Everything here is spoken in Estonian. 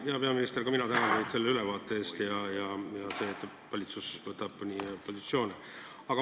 Hea peaminister, ka mina tänan teid selle ülevaate eest ja selle eest, et valitsus võtab positsioone.